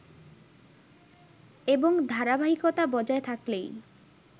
এবং ধারাবাহিকতা বজায় থাকলেই